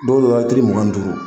Don dɔ la tiri mugan ni duuru